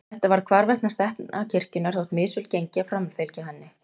Þetta varð hvarvetna stefna kirkjunnar þótt misvel gengi að framfylgja henni.